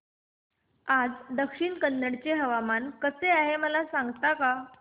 आज दक्षिण कन्नड चे हवामान कसे आहे मला सांगता का